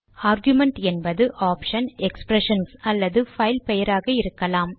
argument என்பது option expressions அல்லது file பெயராக இருக்கலாம்